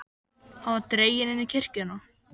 Hann var dreginn inn í kirkjuna.